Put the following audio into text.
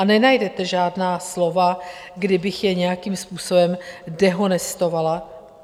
A nenajdete žádná slova, kdy bych je nějakým způsobem dehonestovala.